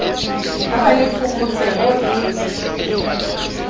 ha ba le phokotseho e